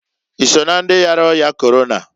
I so na ndị yara ọya Korona?